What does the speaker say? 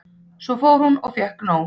Svo fór að hún fékk nóg.